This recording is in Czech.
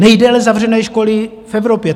Nejdéle zavřené školy v Evropě.